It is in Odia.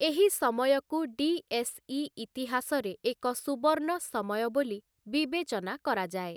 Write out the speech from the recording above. ଏହି ସମୟକୁ ଡିଏସ୍‌ଇ ଇତିହାସରେ ଏକ ସୁବର୍ଣ୍ଣ ସମୟ ବୋଲି ବିବେଚନା କରାଯାଏ ।